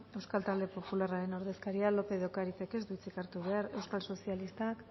euskal talde popularraren ordezkaria lópez de ocarizek ez du hitzik hartu behar euskal sozialistak